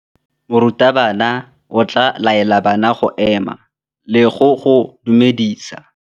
Morutabana o tla laela bana go ema le go go dumedisa.